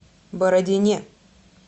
бородине